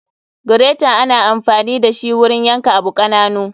Gireta ana anfani dashi wurin yan ka abu kananu.